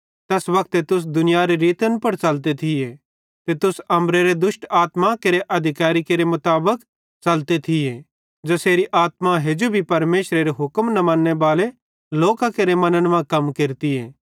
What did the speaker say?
तैस वक्ते तुस दुनियारे रीति पुड़ च़लते थिये ते तुस अम्बरेरे दुष्ट आत्मा केरे अधिकैरी मुताबिक च़लते थी ज़ेसेरी आत्मा हेजू भी परमेशरेरे हुक्म न मन्नेबाले लोकां केरे मन्न मां कम केरती